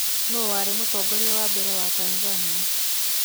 Nũũ warĩ mũtongoria wa mbere wa Tanzania?